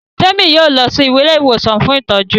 Temi yóò lọ sì Ilé ìwòsàn fún ìtọjú.